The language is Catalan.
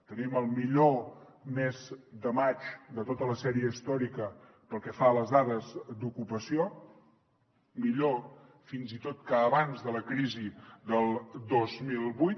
tenim el millor mes de maig de tota la sèrie històrica pel que fa a les dades d’ocupació millor fins i tot que abans de la crisi del dos mil vuit